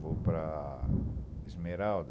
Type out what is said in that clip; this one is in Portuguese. Vou para Esmeralda.